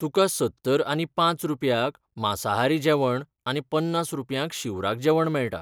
तुका सत्तर आनी पांच रुपयांक मांसाहारी जेवण आनी पन्नास रुपयांक शिवराक जेवण मेळटा.